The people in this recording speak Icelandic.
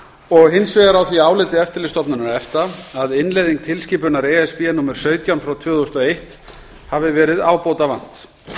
og hins vegar á því áliti eftirlitsstofnunar efta að innleiðingu tilskipunar e s b númer sautján frá tvö þúsund og eitt hafi verið ábótavant